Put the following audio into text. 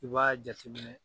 I b'aaa jateminɛ